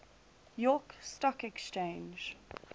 york stock exchange